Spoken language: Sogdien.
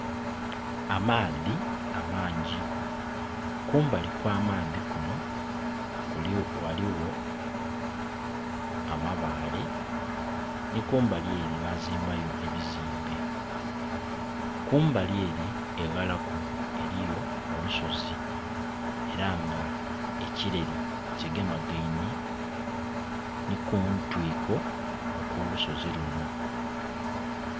Amaadhi amangi, kumbali kw'amaadhi kuno ghaligho amabaale, ni kumbali ere bazimbayo ebizimbe. Kumbali ere eghalaku eriyo olusozi era nga ekileri kigemagaine ni kuntwiko okw'olusozi luno.